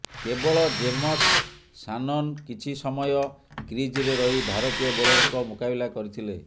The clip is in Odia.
କେବଳ ଜେମସ୍ ସାନନ୍ କିଛି ସମୟ କ୍ରିଜ୍ରେ ରହି ଭାରତୀୟ ବୋଲରଙ୍କ ମୁକାବିଲା କରିଥିଲେ